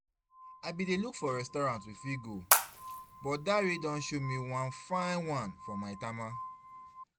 I bin dey look for restaurant we fit go, but Dare don show me one fine one for Maitama